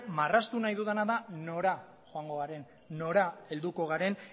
marraztu ahi dudana da nora joango garen nora helduko garen